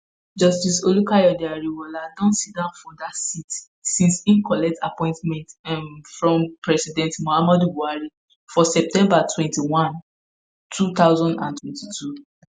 justice olukayode ariwoola don siddon for dat seat since im collect appointment um from former president muhammadu buhari for september 21 2022.